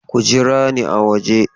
Ku jira ni a waje!